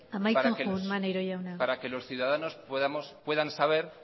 amaitzen joan maneiro jauna para que los ciudadanos puedan saber